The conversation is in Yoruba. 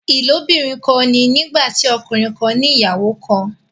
ilobirin kán ní nígbàtí ọkùnrin kán ní ìyàwó kán.